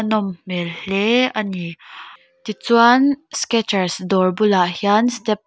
nawm hmel hle a ni tichuan skechers dawr bulah hian step --